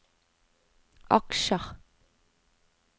aksjer